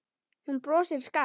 Hún brosir skakkt.